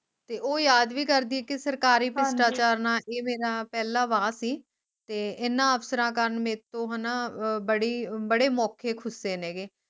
ਤੇ ਉਹ ਯਾਦ ਵੀ ਕਰਦੀ ਕਿ ਸਰਕਰੀ ਸ਼ਿਸ਼ਟਾਚਾਰ ਨਾਲ ਇਹ ਮੇਰਾ ਪਹਿਲਾ ਵਾਅ ਸੀ ਤੇ ਇਹਨਾਂ ਅਫਸਰਾਂ ਕਾਰਣ ਮੇਰੇ ਤੋਂ ਹਣਾ ਬੜੇ ਬੜੇ ਮੌਕੇ ਖੁੱਸੇ ਨੇ ਗੇ